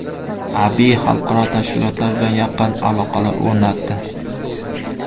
Abiy xalqaro tashkilotlar bilan yaqin aloqalar o‘rnatdi.